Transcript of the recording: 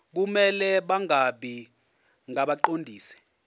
kumele bangabi ngabaqondisi